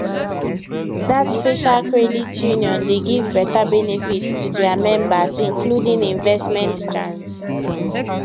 that special credit union dey give better benefit to their members including investment chance